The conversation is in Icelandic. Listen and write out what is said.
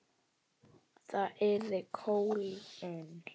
Það yrði kólnun.